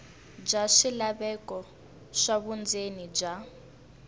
bya swilaveko swa vundzeni bya